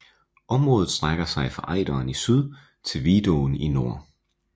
Området strækker sig fra Ejderen i syd til Vidåen i nord